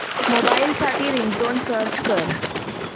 mobile साठी ringtone search कर